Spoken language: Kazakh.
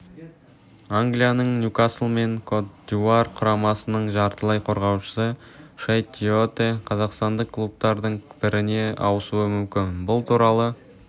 англияның ньюкасл мен кот-дивуар құрамасының жартылай қорғаушысы шейт тиоте қазақстандық клубтардың біріне ауысуы мүмкін бұл туралы